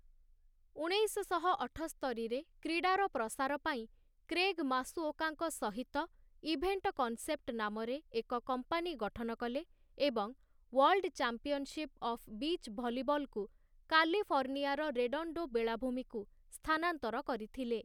ଉଣେଇଶଶହ ଅଠସ୍ତରି ରେ, କ୍ରୀଡ଼ାର ପ୍ରସାର ପାଇଁ କ୍ରେଗ ମାସୁଓକାଙ୍କ ସହିତ ଇଭେଣ୍ଟ କନ୍‌ସେପ୍ଟ ନାମରେ ଏକ କମ୍ପାନୀ ଗଠନ କଲେ ଏବଂ ୱାର୍ଲଡ଼୍ ଚାମ୍ପିଅନଶିପ୍‌ ଅଫ୍ ବିଚ୍ ଭଲିବଲକୁ କାଲିଫର୍ଣ୍ଣିଆର ରେଡଣ୍ଡୋ ବେଳାଭୂମିକୁ ସ୍ଥାନାନ୍ତର କରିଥିଲେ ।